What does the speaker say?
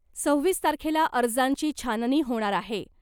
सव्वीस तारखेला अर्जांची छाननी होणार आहे .